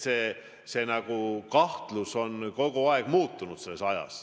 Need kahtlustused on kogu aeg ajas muutunud.